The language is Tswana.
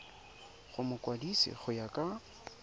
go mokwadise go ya ka